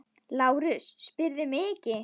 LÁRUS: Spyrðu mig ekki!